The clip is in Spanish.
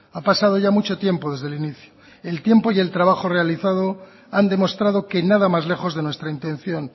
ha pasado ya mucho tiempo desde el inicio el tiempo y el trabajo realizado han demostrado que nada más lejos de nuestra intención